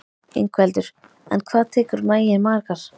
Ingveldur: En hvað tekur maginn margar?